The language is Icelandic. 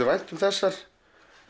vænt um þessar